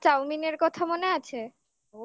আমার মা চাউমিনের কথা মনে আছে